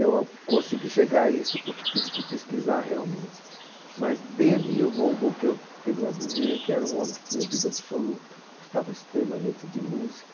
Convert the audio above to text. Eu consegui chegar a isso porque tive que pesquisar realmente, mas dele eu vou vou o que tenho a dizer é que era um homem que tinha ouvido absoluto, gostava extremamente de música,